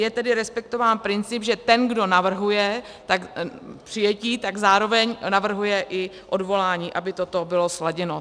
Je tedy respektován princip, že ten, kdo navrhuje přijetí, tak zároveň navrhuje i odvolání, aby toto bylo sladěno.